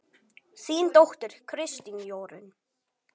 Þín dóttir, Kristín Jórunn.